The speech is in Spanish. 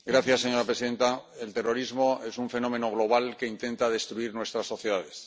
Señora presidenta, el terrorismo es un fenómeno global que intenta destruir nuestras sociedades.